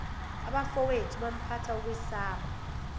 abafowethu phampatha ukwesaba